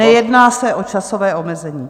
Nejedná se o časové omezení.